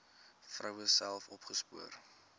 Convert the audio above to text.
vroue self opgespoor